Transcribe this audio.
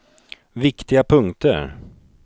viktiga punkter